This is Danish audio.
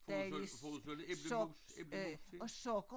Får du så får du så æblemos æblemos til?